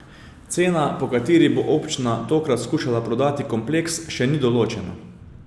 Cena, po kateri bo občina tokrat skušala prodati kompleks, še ni določena.